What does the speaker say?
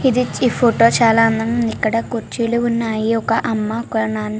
ఈ ఫోటో చాల అందంగా వున్నది ఇక్కడ కుర్చీలు ఉన్నాయ్ ఒక అమ్మ నానా--